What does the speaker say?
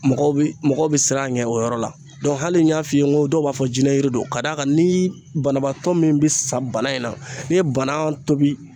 Mɔgɔw bi mɔgɔ bɛ siran a ɲɛ o yɔrɔ la hali n'i y'a f'i ye ko dɔw b'a fɔ jinɛ jiri don ka d'a kan ni banabaatɔ min bi sa bana in na n'i ye bana tobi.